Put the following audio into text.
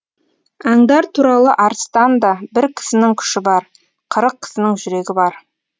аңдар туралы арыстанда бір кісінің күші бар қырық кісінің жүрегі бар